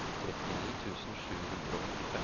trettini tusen sju hundre og åttifem